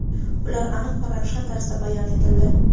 ular aniq va ravshan tarzda bayon etildi.